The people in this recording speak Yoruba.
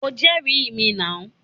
O jẹ́rìí mi nàú.